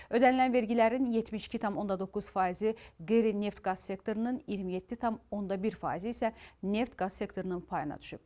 Ödənilən vergilərin 72,9 faizi qeyri-neft qaz sektorunun, 27,1 faizi isə neft qaz sektorunun payına düşüb.